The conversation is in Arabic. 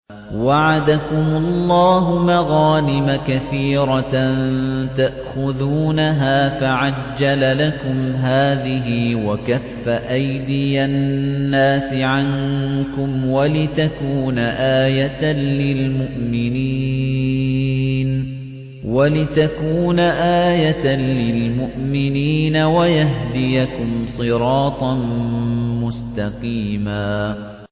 وَعَدَكُمُ اللَّهُ مَغَانِمَ كَثِيرَةً تَأْخُذُونَهَا فَعَجَّلَ لَكُمْ هَٰذِهِ وَكَفَّ أَيْدِيَ النَّاسِ عَنكُمْ وَلِتَكُونَ آيَةً لِّلْمُؤْمِنِينَ وَيَهْدِيَكُمْ صِرَاطًا مُّسْتَقِيمًا